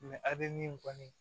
a bɛ min kɔni